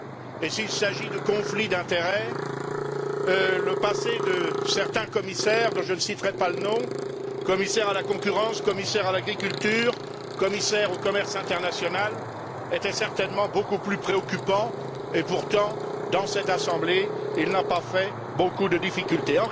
Et s'il s'agit de conflits d'intérêts, le passé de certains commissaires dont je ne citerai pas les noms commissaire à la concurrence, commissaire à l'agriculture, commissaire au commerce international était certainement beaucoup plus préoccupant et pourtant, dans cette Assemblée, il n'a pas posé beaucoup de difficultés.